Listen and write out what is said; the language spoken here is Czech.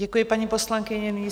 Děkuji, paní poslankyně.